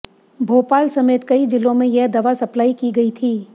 भोपाल समेत कई जिलों में यह दवा सप्लाई की गई थी